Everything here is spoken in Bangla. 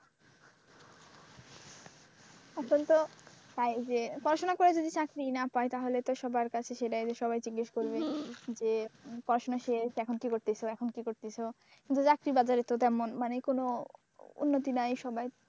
এখন তো হয় যে পড়াশোনা করে যদি চাকরি না পাই তাহলে তো সবার কাছে সেটাই যে জিজ্ঞেস করবে যে পড়াশোনা শেষ এখন কি করতেছ এখন কি করতেছ কিন্তু চাকরির বাজারে তো তেমন মানে কোন উন্নতি নায়, সবাই,